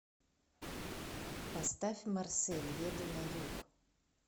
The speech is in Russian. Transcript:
поставь марсель еду на юг